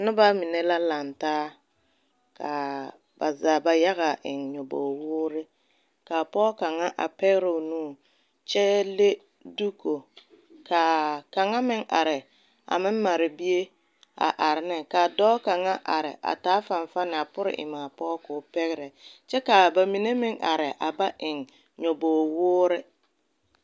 Noba mine la laŋ taa ka ba zaa ba yaga eŋ nyɔbogi woore ka pɔge kaŋa a pɛgrɛ o nu kyɛ le duuko ka kaŋa meŋ are a meŋ mare bie a are ne ka a dɔɔ kaŋa are a taa fanfanne a pore eŋ a pɔge ka o pɛgrɛ kyɛ ka ba mine meŋ are a ba eŋ nyɔbogi woore.